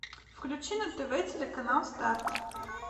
включи на тв телеканал старт